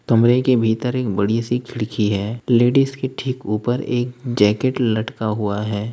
कमरे के भीतर एक बड़ी सी खिड़की है लेडिस के ठीक ऊपर एक जैकेट लटका हुआ है।